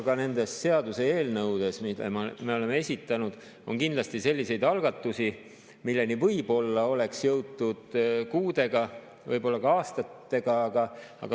Ka nende seaduseelnõude hulgas, mille me oleme esitanud, on kindlasti selliseid algatusi, milleni võib-olla oleks jõutud kuudega, võib-olla aastatega.